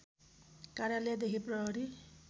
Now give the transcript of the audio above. कार्यालयदेखि प्रहरी